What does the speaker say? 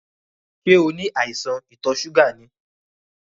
Ṣẹ́ o ní àìsàn ìtò ṣúgà ni?